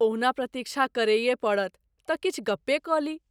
ओहुना प्रतीक्षा करैये पड़त तँ किछु गप्पे कऽ ली।